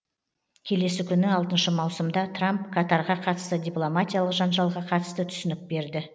келесі күні алтыншы маусымда трамп катарға қатысты дипломатиялық жанжалға қатысты түсінік берді